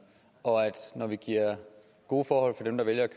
og når vi giver gode forhold til dem der vælger at